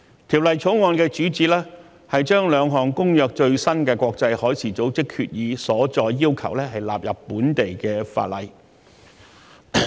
《條例草案》的主旨，是按《公約》規定，將國際海事組織兩項最新決議的所載要求納入本地法例。